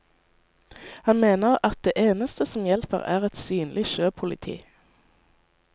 Han mener at det eneste som hjelper er et synlig sjøpoliti.